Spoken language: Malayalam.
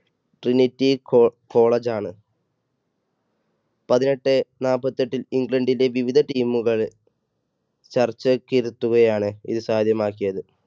trinity co~college ആണ് പതിനെട്ടെ നാൽപ്പത്തി എട്ടിൽ ഇംഗ്ലണ്ടിലെ വിവിധ team കൾ ചർച്ചയ്ക്ക് ഇരുത്തുകയാണ് ഇത് സാധ്യമാക്കിയത്.